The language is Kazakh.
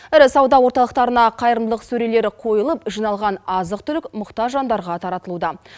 ірі сауда орталықтарына қайырымдылық сөрелері қойылып жиналған азық түлік мұқтаж жандарға таратылуда